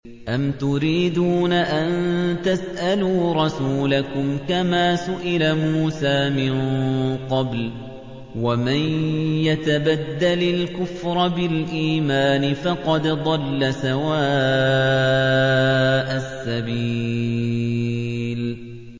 أَمْ تُرِيدُونَ أَن تَسْأَلُوا رَسُولَكُمْ كَمَا سُئِلَ مُوسَىٰ مِن قَبْلُ ۗ وَمَن يَتَبَدَّلِ الْكُفْرَ بِالْإِيمَانِ فَقَدْ ضَلَّ سَوَاءَ السَّبِيلِ